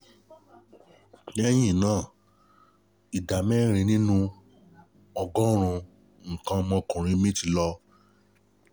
Lẹ́yìn náà, ìdámẹ́rin nínú ọgọ́rùn-ún nǹkan ọmọkùnrin mi ti lọ